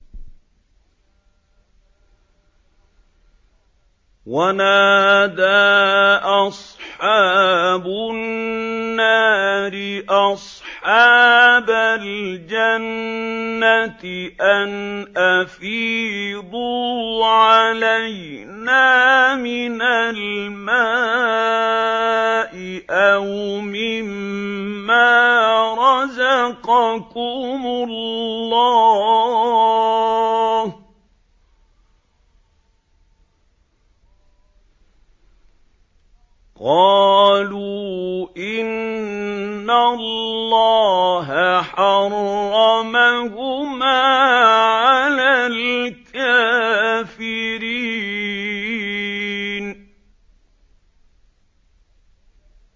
وَنَادَىٰ أَصْحَابُ النَّارِ أَصْحَابَ الْجَنَّةِ أَنْ أَفِيضُوا عَلَيْنَا مِنَ الْمَاءِ أَوْ مِمَّا رَزَقَكُمُ اللَّهُ ۚ قَالُوا إِنَّ اللَّهَ حَرَّمَهُمَا عَلَى الْكَافِرِينَ